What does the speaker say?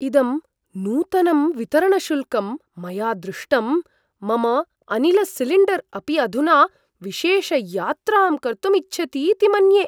इदं नूतनं वितरणशुल्कं मया दृष्टम्, मम अनिलसिलिण्डर् अपि अधुना विशेषयात्रां कर्तुम् इच्छति इति मन्ये!